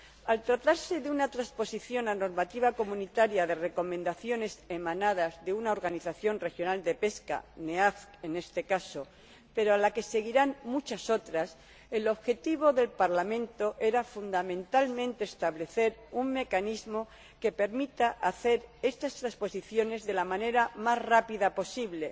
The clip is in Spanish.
Al tratarse de una transposición a la normativa comunitaria de recomendaciones emanadas de una organización regional de pesca, la CPANE en este caso, pero a la que seguirán muchas otras, el objetivo del Parlamento era fundamentalmente establecer un mecanismo que permita hacer estas transposiciones de la manera más rápida posible,